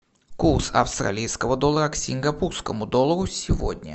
курс австралийского доллара к сингапурскому доллару сегодня